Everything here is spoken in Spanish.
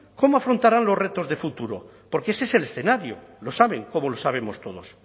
cómo afrontarán los retos de futuro porque ese es el escenario lo saben como lo sabemos todos